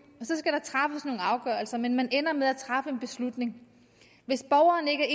og afgørelser men man ender med at træffe en beslutning hvis borgeren ikke er